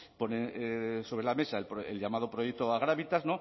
pone sobre la mesa el llamado proyecto agravitas